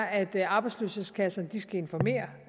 at arbejdsløshedskasserne skal informere